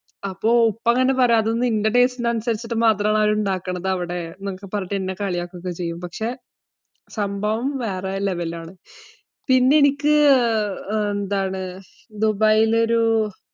അപ്പോ ഉപ്പ ഇങ്ങനെ പറയും, അതൊക്കെ നിന്റെ taste ഇന് മാത്രം ആണ് അവര് ഉണ്ടാകുന്നത് അവിടെ, എന്നൊക്കെ പറഞ്ഞിട്ടു എന്നെ കളിയാകുക ഒകെ ചെയ്യും. പക്ഷെ സംഭവം വേറെ level ആണ്. പിന്നെ എനിക്ക് ദുബൈയിൽ ഒരു